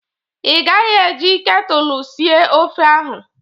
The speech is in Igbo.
Ị gaghi e ji ketulu sie ofe ahụ.!